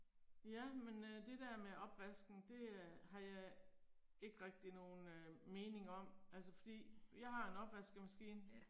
Ja men øh det der med opvasken det øh har jeg ikke rigtig nogen mening om, altså fordi jeg har en opvaskemaskine